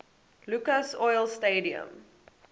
lucas oil stadium